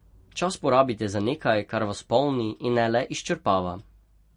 Čas porabite za nekaj, kar vas polni, in ne le izčrpava.